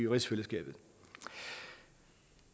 rigsfællesskabet